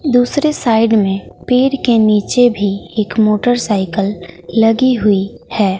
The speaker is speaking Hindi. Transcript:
दूसरे साइड में पेड़ के नीचे भी एक मोटरसाइकल लगी हुई है।